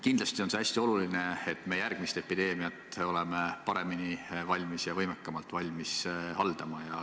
Kindlasti on see hästi oluline, et me järgmist epideemiat oleme valmis paremini ja võimekamalt haldama.